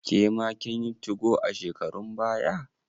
Kema kin yi 2go a shekarun baya?